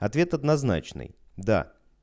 ответ однозначный да